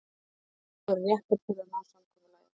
Ég tel allar aðstæður vera réttar til að ná samkomulagi.